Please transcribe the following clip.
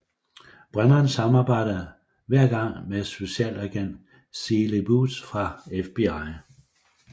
Brennan samarbejder hver gang med Specialagent Seeley Booth fra FBI